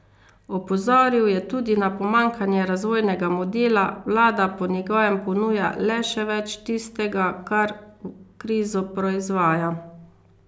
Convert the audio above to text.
Opozoril je tudi na pomanjkanje razvojnega modela, vlada po njegovem ponuja le še več tistega, kar krizo proizvaja.